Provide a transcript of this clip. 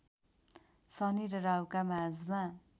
शनि र राहुका माझमा